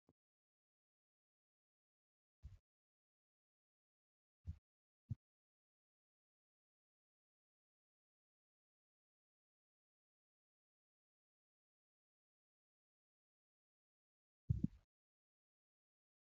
Kun biqiloota pilaastikii keessatti guddifamaa jiraniidha. Biqiltoonni kunneen buqqifamanii bakka biraa yoo dhaabaman akka hin gogneef pilaastikii keessatti guddifamaa jiru. Irra keessaan akka aduun hin miineef gaaddisni irratti hojjetamee jira.